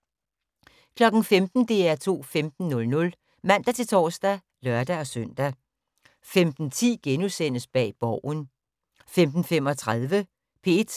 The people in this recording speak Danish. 15:00: DR2 15:00 (man-tor og lør-søn) 15:10: Bag Borgen * 15:35: P1